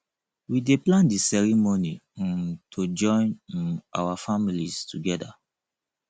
we dey plan di ceremony um to join um our families together